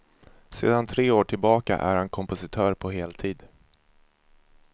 Sedan tre år tillbaka är han kompositör på heltid.